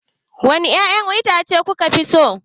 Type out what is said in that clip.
Wane ƴaƴan itace kuka fi so?